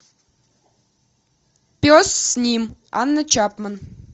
пес с ним анна чапман